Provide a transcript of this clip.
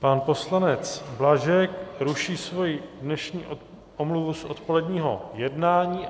Pan poslanec Blažek ruší svou dnešní omluvu z odpoledního jednání.